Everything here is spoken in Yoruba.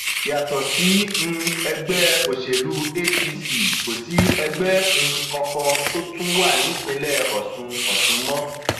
yàtọ sí um ẹgbẹ òṣèlú apc kò sí ẹgbẹ um kankan tó tún wà nípìnlẹ ọsùn ọsùn mọ